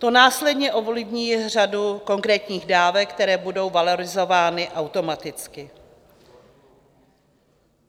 To následně ovlivní řadu konkrétních dávek, které budou valorizovány automaticky.